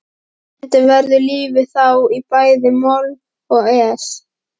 Stundum verður lífið þá í bæði moll og es.